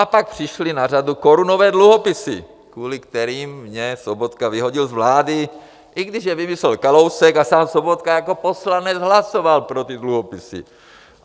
A pak přišly na řadu korunové dluhopisy, kvůli kterým mě Sobotka vyhodil z vlády, i když je vymyslel Kalousek a sám Sobotka jako poslanec hlasoval pro ty dluhopisy.